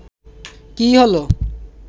কী হল